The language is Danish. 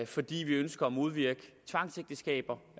fordi vi ønsker at modvirke tvangsægteskaber